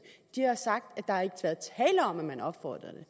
de har sagt at om at man opfordrede